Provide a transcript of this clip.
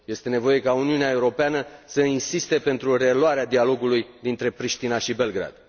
Este nevoie ca Uniunea Europeană să insiste pentru reluarea dialogului dintre Pristina și Belgrad.